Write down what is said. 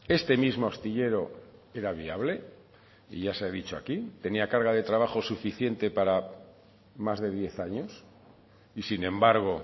este mismo astillero era viable y ya se ha dicho aquí tenía carga de trabajo suficiente para más de diez años y sin embargo